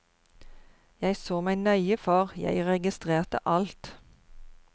Jeg så meg nøye for, jeg registrerte alt.